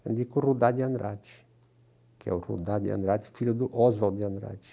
Eu indico o Rudá de Andrade, que é o Rudá de Andrade, filho do Oswald de Andrade.